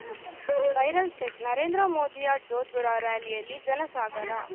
viral check Narendra ಮೋದಿಯ Jodhpur rally ಯಲ್ಲಿ ಜನಸಾಗರ